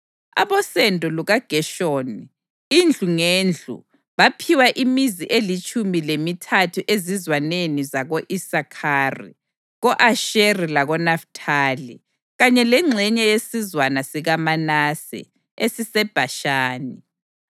Abosendo lukaGeshoni, indlu ngendlu, baphiwa imizi elitshumi lemithathu ezizwaneni zako-Isakhari, ko-Asheri lakoNafithali, kanye lengxenye yesizwana sikaManase esiseBhashani.